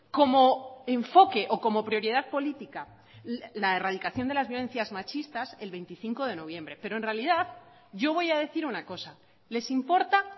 como enfoque o como prioridad política la erradicación de las violencias machistas el veinticinco de noviembre pero en realidad yo voy a decir una cosa les importa